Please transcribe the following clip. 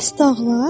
Bəs dağlar?